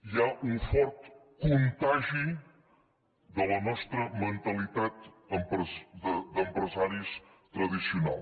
hi ha un fort contagi de la nostra mentalitat d’empresaris tradicional